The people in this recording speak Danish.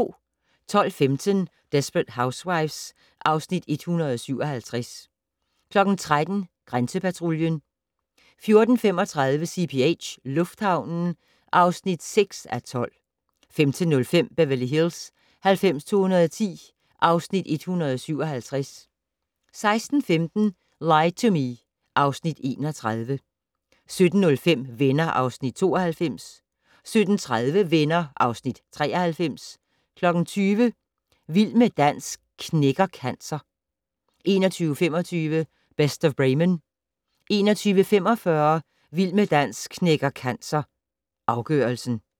12:15: Desperate Housewives (Afs. 157) 13:00: Grænsepatruljen 14:35: CPH - lufthavnen (6:12) 15:05: Beverly Hills 90210 (Afs. 157) 16:15: Lie to Me (Afs. 31) 17:05: Venner (Afs. 92) 17:30: Venner (Afs. 93) 20:00: Vild med dans knækker cancer 21:25: Best of Bremen 21:45: Vild med dans knækker cancer - afgørelsen